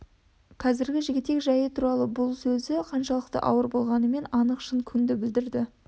қазіргі жігітек жайы туралы бұл сөзі қаншалық ауыр болғанымен анық шын күңді білдірді